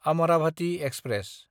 Amravati express